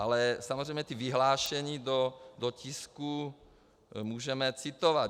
Ale samozřejmě ta vyhlášení do tisku můžeme citovat.